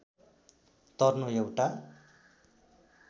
तर्नु एउटा